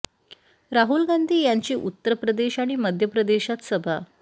राहूल गांधी यांची उत्तर प्रदेश आणि मध्य प्रदेशात सभा